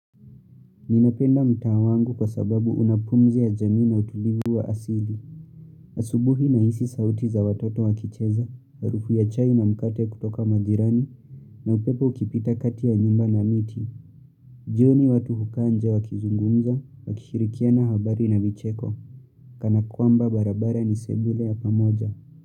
Ninapenda mtaa wangu kwa sababu una pumzi ya jamii na utulivu wa asili. Asubuhi nahisi sauti za watoto wakicheza, harufu ya chai na mkate kutoka majirani, na upepo ukipita kati ya nyumba na miti. Jioni watu hukaa nje wa kizungumza, wa kishirikiana habari na micheko, kana kwamba barabara ni sebule ya pamoja.